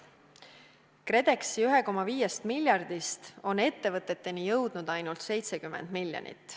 KredExi 1,5 miljardist on ettevõteteni jõudnud ainult 70 miljonit.